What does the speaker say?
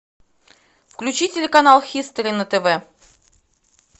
включи телеканал хистори на тв